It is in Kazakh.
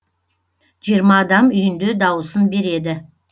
жиырма адам үйінде дауысын береді